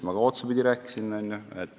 Ma otsapidi rääkisin ka suusatamisest.